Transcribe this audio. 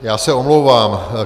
Já se omlouvám.